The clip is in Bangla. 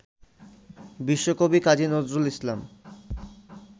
বিশ্বকবি কাজী নজরুল ইসলাম